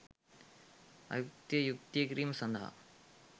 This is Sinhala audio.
අයුක්තිය යුක්තිය කිරීම සඳහා